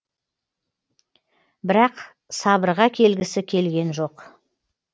бірақ сабырға келгісі келген жоқ